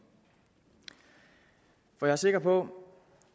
at jeg er sikker på